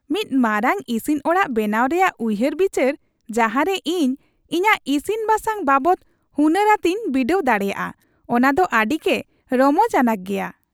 ᱢᱤᱫ ᱢᱟᱨᱟᱝ ᱤᱥᱤᱱ ᱚᱲᱟᱜ ᱵᱮᱱᱟᱣ ᱨᱮᱭᱟᱜ ᱩᱭᱦᱟᱹᱨᱼᱵᱤᱪᱟᱹᱨ ᱡᱟᱦᱟᱨᱮ ᱤᱧ ᱤᱧᱟᱹᱜ ᱤᱥᱤᱱ ᱵᱟᱥᱟᱝ ᱵᱟᱵᱚᱫ ᱦᱩᱱᱟᱹᱨ ᱟᱛᱮᱧ ᱵᱤᱰᱟᱹᱣ ᱫᱟᱲᱮᱭᱟᱜᱼᱟ ᱚᱱᱟ ᱫᱚ ᱟᱹᱰᱤᱜᱮ ᱨᱚᱢᱚᱡ ᱟᱱᱟᱜ ᱜᱮᱭᱟ ᱾